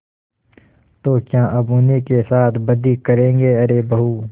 तो क्या अब उन्हीं के साथ बदी करेंगे अरे बहू